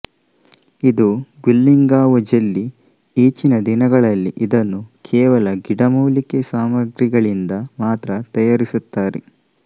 ಇದು guilinggao jelly ಈಚಿನ ದಿನಗಳಲ್ಲಿ ಇದನ್ನು ಕೇವಲ ಗಿಡಮೂಲಿಕೆ ಸಾಮಗ್ರಿಗಳಿಂದ ಮಾತ್ರ ತಯಾರಿಸುತ್ತಾರೆ